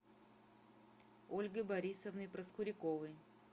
ольгой борисовной проскуряковой